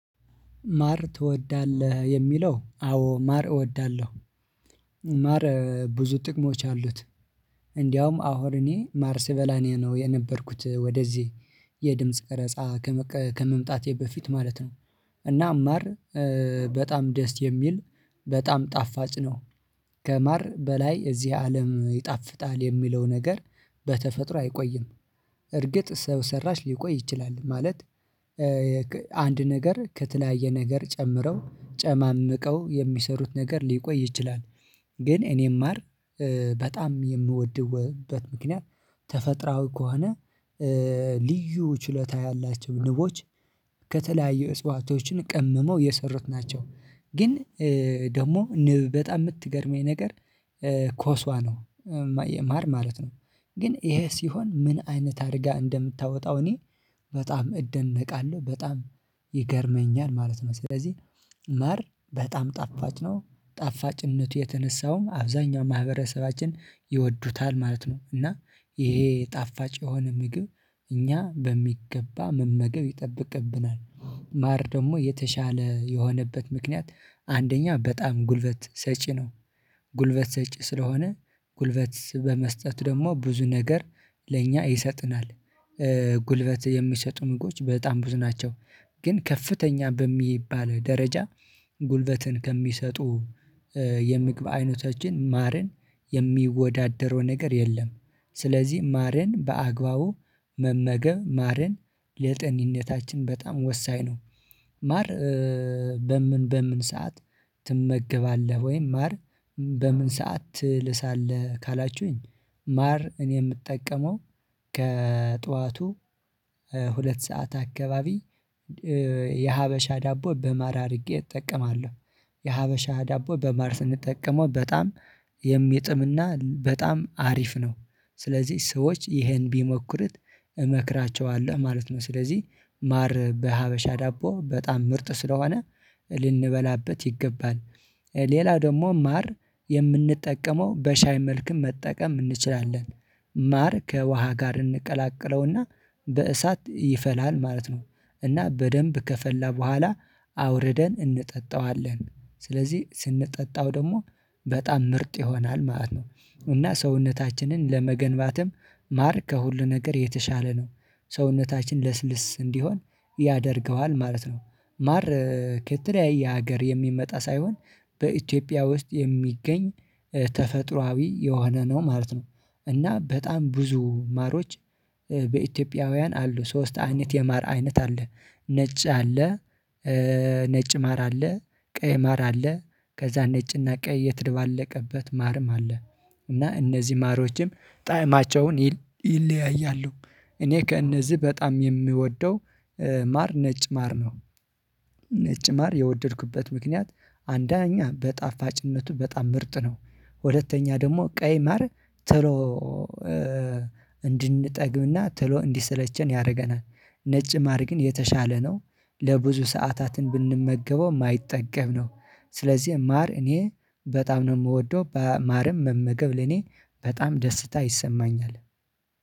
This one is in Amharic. ማር ትወዳለህ የሚለው አዎ ማር እወዳለሁ። ማር ብዙ ጥቅሞች አሉት። እንደውም አሁን እኔ ማር ስበላ ነው የነበርኩት ወደዚህ የድምጽ ቅረጻ ከመምጣቴ በፊት ማለት ነው። እና ማር በጣም ደስ የሚል በጣም ጣፋጭ ነው። ከማር በላይ እዚህ አለም ይጣፍጣል የሚለው ነገር። በተፈጥሮ አይቆይም። እርግጥ ሰው ሰራሽ ሊቆይ ይችላል ማለት። አንድ ነገር ከተለያየ ነገር ጨምረው ጨማምቀው የሚሰሩት ነገር ሊቆይ ይችላል። ግን እኔም ማር በጣም የምወድበት ምክንያት ተፈጥሮዊ ከሆነ። ልዩ ችልታ ያላቸው ንቦች። ከተለያዩ እጽዋቶችን ቀምመው የሰሩት ናቸው ግን። ደግሞ ንብ በጣም የምትገርመኝ ነገር ኮስዋ ነው። የማር ማለት ነው። ግን ይሄ ሲሆን ምን አይነት አድርጋ እንደምታወጣው እኔ በጣም እደነቃለሁ በጣም ይገርመኛል ማለት ነው። ስለዚህ ማር በጣም ጣፋጭ ነው። ጣፋጭነቱ የተነሳውም አብዛኛው ማህበረሰባችን ይወዱታል ማለት ነው። እና ይሄ ጣፋጭ የሆነ ምግብ እኛ በሚገባ መመገብ ይጠበቅብናል። ማር ደግሞ የተሻለ የሆነበት ምክንያት አንደኛ በጣም ጉልበት ሰጪ ነው። ጉልበት ሰጪ ስለሆነ ጉልበት በመስጠት ደግሞ ብዙ ነገር ለእኛ ይሰጠናል። ጉልበት የሚሰጡ ምጎች በጣም ብዙ ናቸው። ግን ከፍተኛ በሚባል ደረጃ ጉልበትን ከሚሰጡ የምግብ አይነቶችን ማርን የሚወዳደረው ነገር የለም። ስለዚህ ማርን በአግባቡ መመገብ ማርን ለጣንነታችን በጣም ወሳኝ ነው። ማር በምን በምን ሰዓት ትመገባለህ? ወይም ማር በምን ሰዓት ትልሳለህ? ካላችሁኝ ማር እኔ የምጠቀመው ከጧቱ ሁለት ሰዓት አካባቢ የሀበሻ ዳቦ በማር አድርጌ እጠቀማለሁ። የሀበሻ ዳቦ በማር ስንጠቀመው በጣም የሚጥም እና በጣም አሪፍ ነው። ስለዚህ ሰዎች ይሄን ቢሞክርት እመክራቸዋለሁ ማለት ነው። ስለዚህ ማር በሀበሻ ዳቦ በጣም ምርጥ ስለሆነ ልንበላበት ይገባል። ሌላው ደግሞ ማር የምንጠቀመው በሻይ መልኩ መጠቀም እንችላለን። ማር ከውሃ ጋር እንቀላቅለው ርና በእሳት ይፈላል ማለት ነው። እና በደንብ ከፈላ በኋላ አውርደን እንጠጣዋለን ስለዚህ ስንጠጣው ደግሞ በጣም ምርጥ ይሆናል ማለት ነው። እና ሰውነታችንን ለመገንባትም ማር ከሁሉ ነገር የተሻለ ነው። ሰውነታችን ለስልስ እንዲሆን ያደርገዋል ማለት ነው። ማር ከተለያየ ሀገር የሚመጣ ሳይሆን በኢትዮጵያ ውስጥ የሚገኝ ተፈጥሮአዊ የሆነ ነው ማለት ነው። እና በጣም ብዙ ማሮች በኢትዮጵያውያን አሉ ሶስት አይነት የማር አይነት አለ ነጭ አለ። ነጭ ማር አለ። ቀይ ማር አለ። ከዛ ነጭ እና ቀይ የተደባለቀበት ማርም አለ። እና እነዚህ ማሪዎችም ጣዕማቸውን ይለያያሉ። እኔ ከእነዚህ በጣም የምወደው ማር ነጭ ማር ነው። ነጭ ማር የወደድኩበት ምክንያት አንደኛ በጣፋጭነቱ በጣም ምርጥ ነው ሁለተኛ ደግሞ ቀይ ማር ቶሎ እንድንጠግብ እና ቶሎ እንዲሰለቸን ያደርገናል ነጭ ማር ግን የተሻለ ነው። ለብዙ ሰዓታትን ብንመገበው የማይጠገብ ነው። ስለዚህ ማር እኔ በጣም ነው የምወደው በማርም መመገብ ለኔ በጣም ደስታ ይሰማኛል።